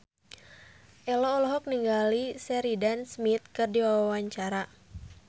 Ello olohok ningali Sheridan Smith keur diwawancara